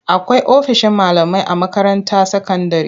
Akwai ofishin malamai a makaranta sakandire.